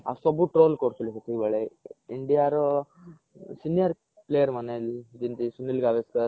ଆଉ ସବୁ troll କରୁଥିଲେ ସେତିକି ବେଲେ india ର senior player ମାନେ ଯେମିତି ସୁନୀଲ ଗାଭାସ୍କର